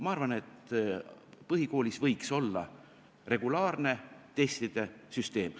Ma arvan, et põhikoolis võiks olla regulaarne testide süsteem.